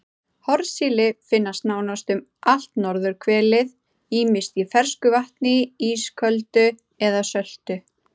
Hornsíli finnst nánast um allt norðurhvelið ýmist í fersku vatni, ísöltu eða söltu.